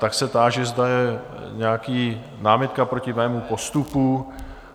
Tak se táži, zda je nějaká námitka proti mému postupu?